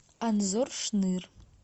анзор шныр